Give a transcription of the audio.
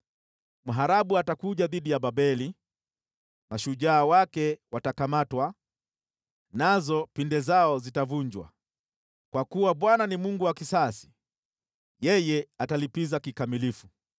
Mharabu atakuja dhidi ya Babeli, mashujaa wake watakamatwa, nazo pinde zao zitavunjwa. Kwa kuwa Bwana ni Mungu wa kisasi, yeye atalipiza kikamilifu.